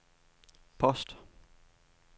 post